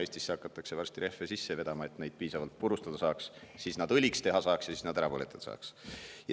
Eestisse hakatakse varsti rehve sisse vedama, et saaks neid piisavalt purustada ja nad õliks teha ja nad ära põletada.